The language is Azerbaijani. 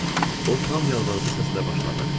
o tam yalvarıcı səslə başladı.